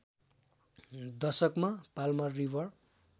दशकमा Palmer river